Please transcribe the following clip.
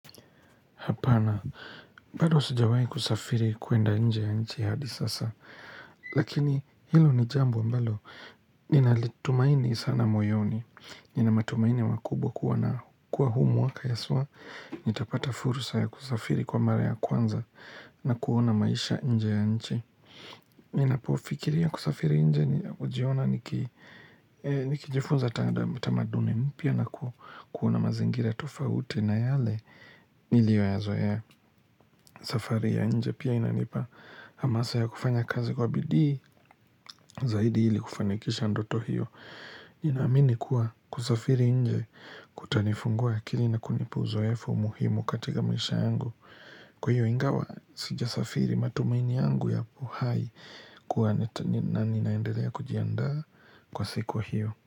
Hapana. Bado sijawai kusafiri kuenda nje ya nchi hadi sasa. Lakini hilo ni jambo ambalo. Ninalitumaini sana moyoni. Nina matumaini makubwa kuwa huu mwaka haswa. Nitapata fursa ya kusafiri kwa mara ya kwanza na kuona maisha nje ya nchi. Ninapofikiria kusafiri nje ni hujiona nikijifunza tamaduni mpya na kuona mazingira tofauti na yale nilyoyazoea safari ya nje Pia inanipa hamasa ya kufanya kazi kwa bidii zaidi ili kufanikisha ndoto hiyo Ninaamini kuwa kusafiri nje kutanifungua akili na kunipa uzoefu muhimu katika maisha yangu Kwa hiyo ingawa sijasafiri matumaini yangu yapo hai kuwa ninaendelea kujiandaa kwa siku hiyo.